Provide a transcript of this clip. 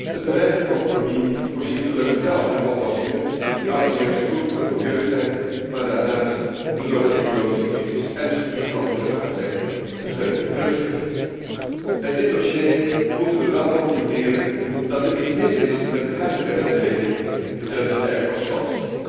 Het bereikte compromis voorziet gelukkig wel in oplossingen, die allereerst goed zijn voor het milieu, maar daarnaast de door de economische crisis ernstig getroffen luchtvaartsector een steuntje in de rug geeft. Bij dit dossier moeten we wel concluderen dat er iets mis is met de huidige wetgeving betreffende airport slots